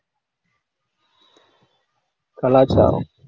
கலாச்சாரம்.